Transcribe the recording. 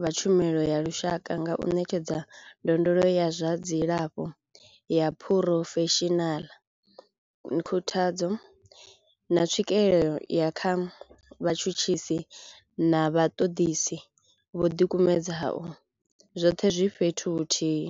vha tshumelo ya lushaka nga u ṋetshedza ndondolo ya zwa dzilafho ya phurofeshinala, khuthadzo, na tswikelo ya kha vhatshutshisi na vhaṱoḓisi vho ḓikumedzaho, zwoṱhe zwi fhethu huthihi.